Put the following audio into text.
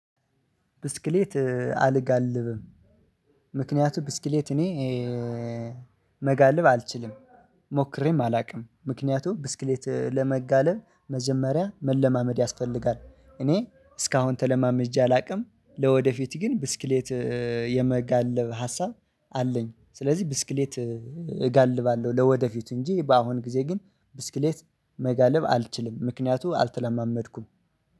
ብስክሌት አልጋልብም ምክንያቱም ብስክሌት እኔ መጋልብ አልችልም ሞክሬም አላቅም። ምክንያቱም ብስክሌት ለመጋለብ መጀመሪያ መለማመድ ያስፈልጋል። እኔ እስካሁን ተለማመጄ አላቅም ለወደፊት ግን ብስክሌት የመጋለብ ሀሳብ አለኝ። ስለዚህ ብስክሌት እጋልባለሁ ለወደፊቱ እንጂ በአሁን ጊዜ ግን ብስክሌት መጋለብ አልችልም። ምክንያቱ አልተለማመድኩም